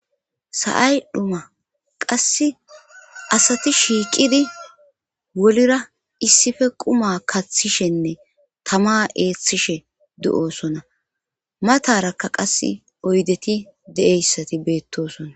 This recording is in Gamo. sa7ay dhuma qass asati shiiqidi wolira issife quma kaththishenne tama eeththishe de7osona matarakka qas oydeti de7eyssati beettosona